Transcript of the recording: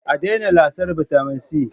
A daina lasar bitamin C